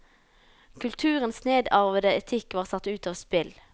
Kulturens nedarvede etikk var satt ut av spill.